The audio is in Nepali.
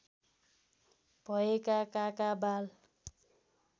भएका काका बाल